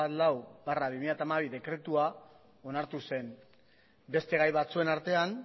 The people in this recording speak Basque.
hamalau barra bi mila hamabi dekretua onartu zen beste gai batzuen artean